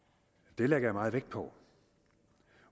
det lægger jeg meget vægt på